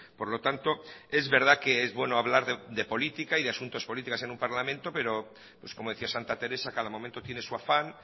por lo tanto es verdad que es bueno hablar de política y de asuntos políticos en un parlamento pero pues como decía santa teresa cada momento tiene su afán